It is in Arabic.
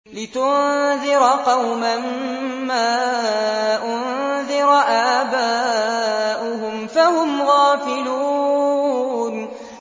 لِتُنذِرَ قَوْمًا مَّا أُنذِرَ آبَاؤُهُمْ فَهُمْ غَافِلُونَ